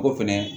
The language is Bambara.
O fɛnɛ